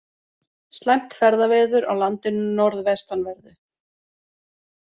Slæmt ferðaveður á landinu norðvestanverðu